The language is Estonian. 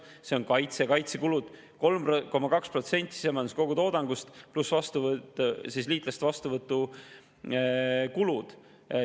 Sealhulgas on kaitsekulud 3,2% sisemajanduse kogutoodangust pluss liitlaste vastuvõtu kulud.